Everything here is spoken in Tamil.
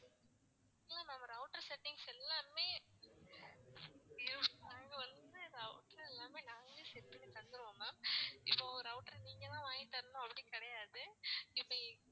இல்ல ma'am router settings எல்லாமே நாங்க வந்து router எல்லாமே நாங்களே set பண்ணி தந்துருவோம் ma'am இப்போ router நீங்க தான் வாங்கி தரணும் அப்படி கிடையாது, இப்போ